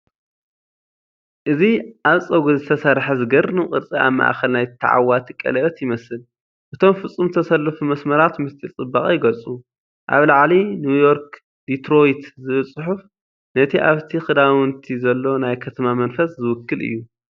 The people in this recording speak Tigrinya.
እዚ ኣብ ጸጉሪ ዝተሰርሐ ዘገርም ቅርጺ ኣብ ማእከል ናይ ተዓዋቲ ቀለቤት ይመስል። እቶም ፍጹም ዝተሰለፉ መስመራት ምስጢር ጽባቐ ይገልጹ። ኣብ ላዕሊ "ኒውዮርክ ዲትሮይት" ዝብል ጽሑፍ ነቲ ኣብቲ ክዳውንቲ ዘሎ ናይ ከተማ መንፈስ ዝውክል እዩ።